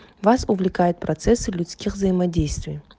вас увлекает процессы людских взаимодействий